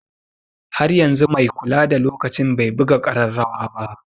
Har yanzu mai kula da lokaci bai buga ƙararrawa ba.